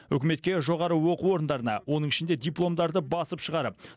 үкіметке жоғары оқу орындарына оның ішінде дипломдарды басып шығарып